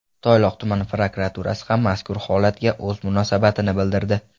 Toyloq tuman prokuraturasi ham mazkur holatga o‘z munosabatini bildirdi.